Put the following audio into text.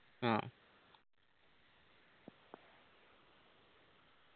ആ